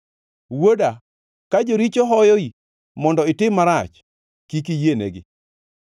Wuoda, ka joricho hoyoi mondo itim marach, kik iyienegi.